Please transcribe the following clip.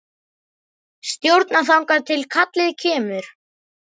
Stjórna þangað til kallið kemur.